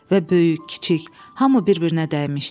Və böyük, kiçik, hamı bir-birinə dəymişdi.